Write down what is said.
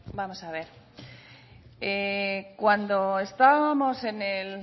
vamos a ver cuando estábamos en el